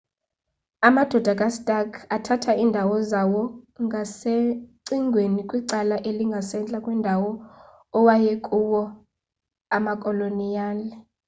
amadoda kastark athatha iindawo zawo ngasecingweni kwicala elingasentla kwendawo awayekuwo amakoloniyali